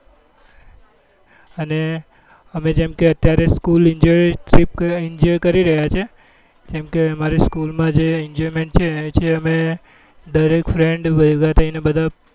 અને અમે જેમ કે અત્યારે school enjoy trip enjoy કરી રહ્યા છીએ એમ કે અમારી school જે enjoyment છે છે દરેક friend ભેગા થઇ ને બધા